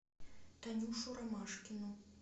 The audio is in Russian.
танюшу ромашкину